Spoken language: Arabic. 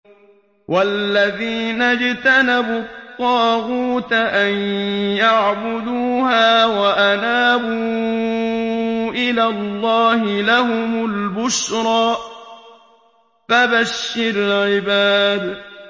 وَالَّذِينَ اجْتَنَبُوا الطَّاغُوتَ أَن يَعْبُدُوهَا وَأَنَابُوا إِلَى اللَّهِ لَهُمُ الْبُشْرَىٰ ۚ فَبَشِّرْ عِبَادِ